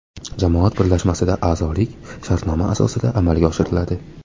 Jamoat birlashmasiga a’zolik shartnoma asosida amalga oshiriladi.